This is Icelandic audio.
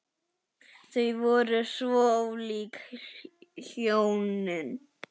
Þau voru svo ólík hjónin.